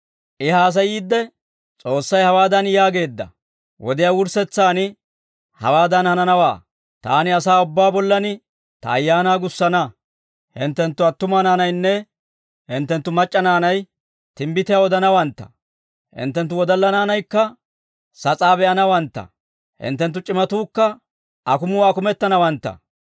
«I haasayiidde, ‹S'oossay hawaadan yaageedda; wodiyaa wurssetsaan hawaadan hananawaa. Taani asaa ubbaa bollan ta Ayaanaa gussana. Hinttenttu attuma naanaynne hinttenttu mac'c'a naanay timbbitiyaa odanawantta. Hinttenttu wodalla naanaykka sas'aa be'anawantta; hinttenttu c'imatuukka akumuwaa akumettanawantta.